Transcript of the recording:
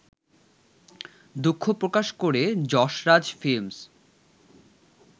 দুঃখ প্রকাশ করে যশরাজ ফিল্মস